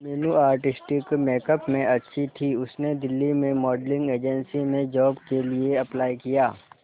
Meenu artistic makeup में अच्छी थी उसने दिल्ली में मॉडलिंग एजेंसी में जॉब के लिए अप्लाई किया